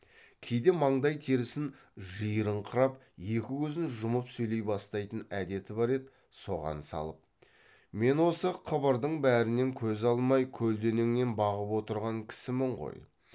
кейде маңдай терісін жиырыңқырап екі көзін жұмып сөйлей бастайтын әдеті бар еді соған салып мен осы қыбырдың бәрінен көз алмай көлденеңнен бағып отырған кісімін ғой